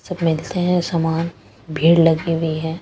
सब मिलते हैं सामान भीड़ लगी हुई है।